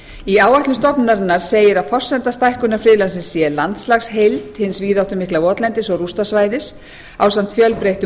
í áætlun stofnunarinnar segir að forsenda stækkunar friðlandsins sé landslagsheild hins víðáttumikla votlendis og rústasvæðis ásamt fjölbreyttum